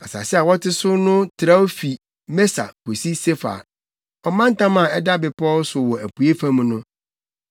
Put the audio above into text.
Asase a wɔte so no trɛw fi Mesa kosi Sefar, ɔmantam a ɛda bepɔw so wɔ apuei fam no.